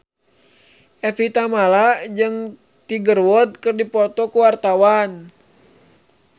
Evie Tamala jeung Tiger Wood keur dipoto ku wartawan